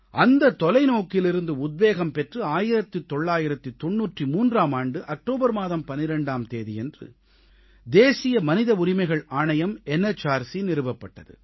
அந்தத் தொலைநோக்கிலிருந்து உத்வேகம் பெற்று 1993ஆம் ஆண்டு அக்டோபர் மாதம் 12ஆம் தேதியன்று தேசிய மனித உரிமைகள் ஆணையம் என்எச்ஆர்சி நிறுவப்பட்டது